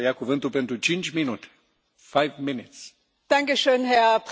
Herr Präsident, liebe Kollegen und liebe Kolleginnen!